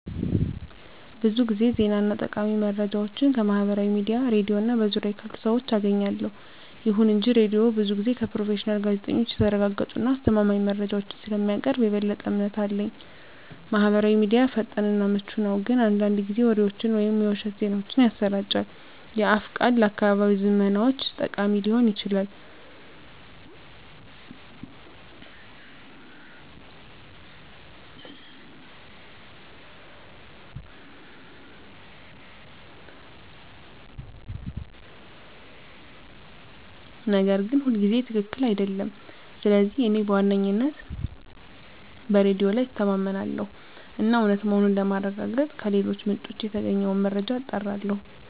ብዙ ጊዜ ዜና እና ጠቃሚ መረጃዎችን ከማህበራዊ ሚዲያ፣ ሬድዮ እና በዙሪያዬ ካሉ ሰዎች አገኛለሁ። ይሁን እንጂ ሬዲዮው ብዙ ጊዜ ከፕሮፌሽናል ጋዜጠኞች የተረጋገጡ እና አስተማማኝ መረጃዎችን ስለሚያቀርብ የበለጠ እምነት አለኝ። ማህበራዊ ሚዲያ ፈጣን እና ምቹ ነው፣ ግን አንዳንድ ጊዜ ወሬዎችን ወይም የውሸት ዜናዎችን ያሰራጫል። የአፍ ቃል ለአካባቢያዊ ዝመናዎች ጠቃሚ ሊሆን ይችላል, ነገር ግን ሁልጊዜ ትክክል አይደለም. ስለዚህ እኔ በዋነኝነት በሬዲዮ ላይ እተማመናለሁ እና እውነት መሆኑን ለማረጋገጥ ከሌሎች ምንጮች የተገኘውን መረጃ አጣራለሁ።